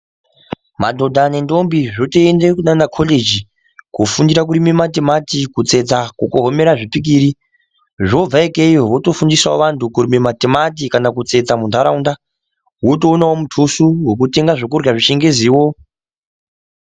Madhodha nendombi zvotoende kunaana koregi koofundira kurima matimati ,kutsetsa, kukhomera zvipikiri zvobva ikeyo wotofundisao antu kurime matimati kanakutsetsa munharaunda wotoonawo mutuso wekutenga zvekurya zvechingeziwo.